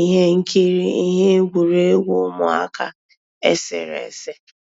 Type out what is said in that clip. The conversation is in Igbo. íhé nkírí íhé égwurégwu ụmụ́àká éséréésé.